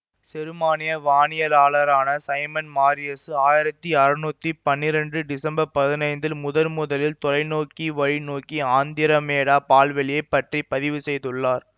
செருமானிய வானியலாளரான Simon Marius ஆயிரத்தி அறுநூத்தி பன்னிரெண்டு டிசம்பர் பதினைந்தில் முதன்முதலில் தொலைநோக்கிவழி நோக்கி ஆந்திரமேடா பால்வெளியைப் பற்றி பதிவு செய்துள்ளார்